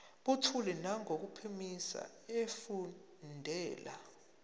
buthule nangokuphimisa efundela